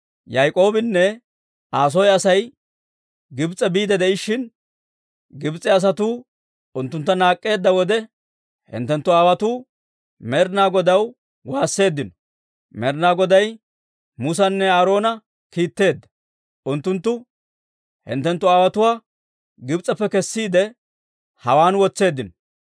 Yaak'oobinne Aa soo Asay Gibs'e biide de'ishshin, Gibs'e asatuu unttuntta naak'k'eedda wode, hinttenttu aawotuu Med'inaa Godaw waasseeddino; Med'inaa Goday Musanne Aaroona kiitteedda; unttunttu hinttenttu aawotuwaa Gibs'eppe kessiide, hawaan wotseeddino.